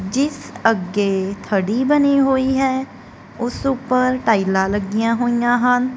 ਜਿਸ ਅੱਗੇ ਥੜੀ ਬਣੀ ਹੋਈ ਹੈ ਉਸ ਉਪਰ ਟਾਈਲਾਂ ਲੱਗੀਆਂ ਹੋਈਆਂ ਹਨ।